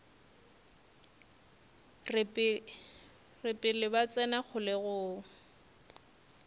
re pele ba tsena kgolegong